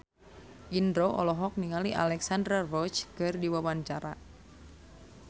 Indro olohok ningali Alexandra Roach keur diwawancara